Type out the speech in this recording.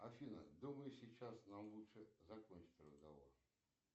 афина думаю сейчас нам лучше закончить разговор